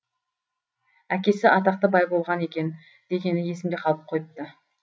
әкесі атақты бай болған екен дегені есімде қалып қойыпты